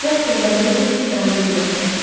Casper və Mabel bir daha onu görmədilər.